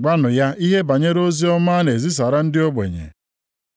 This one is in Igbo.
Gwakwanụ ya ihe banyere oziọma a na-ezisara ndị ogbenye.